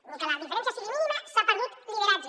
ni que la diferència sigui mínima s’ha perdut lideratge